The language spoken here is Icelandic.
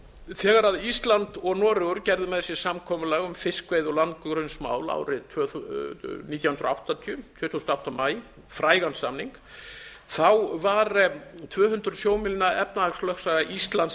þegar ísland og noregur gerðu með sér samkomulag um fiskveiði og landgrunnsmál árið nítján hundruð áttatíu tuttugasta og áttunda maí frægan samning var tvö hundruð sjómílna efnahagslögsaga íslands